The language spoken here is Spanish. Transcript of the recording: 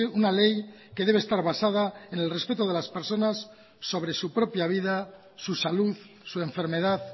una ley que debe estar basada en el respeto de las personas sobre su propia vida su salud su enfermedad